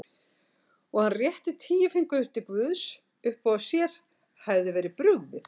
Og hann rétti tíu fingur upp til guðs uppá að sér hefði verið brugðið.